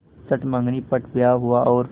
चट मँगनी पट ब्याह हुआ और